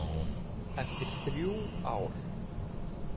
Eftir þrjú ár.